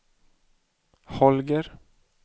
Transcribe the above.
Holger